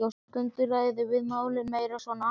En stundum ræðum við málin meira svona almennt.